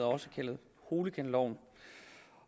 også kaldet hooliganloven